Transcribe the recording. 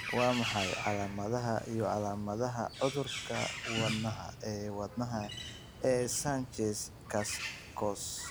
Waa maxay calaamadaha iyo calaamadaha Cudurka Wadnaha ee Wadnaha ee Sanchez Cascos?